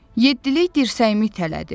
Yeddilik dirsəyimi tələdi.